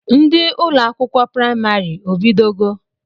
Ndị ụlọakwụkwọ praịmarị ọ bido go?